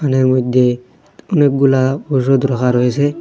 ঘরের মধ্যে অনেকগুলা ওষুধ রাখা রয়েসে।